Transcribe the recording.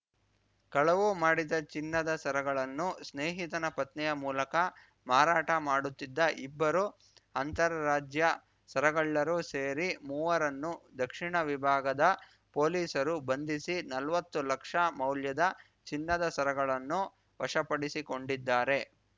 ಕಳವು ಮಾಡಿದ ಚಿನ್ನದ ಸರಗಳನ್ನು ಸ್ನೇಹಿತನ ಪತ್ನಿಯ ಮೂಲಕ ಮಾರಾಟ ಮಾಡುತ್ತಿದ್ದ ಇಬ್ಬರು ಅಂತರರಾಜ್ಯ ಸರಗಳ್ಳರೂ ಸೇರಿ ಮೂವರನ್ನು ದಕ್ಷಿಣ ವಿಭಾಗದ ಪೊಲೀಸರು ಬಂಧಿಸಿ ನಲ್ವತ್ತು ಲಕ್ಷ ಮೌಲ್ಯದ ಚಿನ್ನದ ಸರಗಳನ್ನು ವಶಪಡಿಸಿಕೊಂಡಿದ್ದಾರೆ